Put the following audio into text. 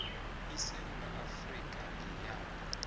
isewula afrika ngeyabo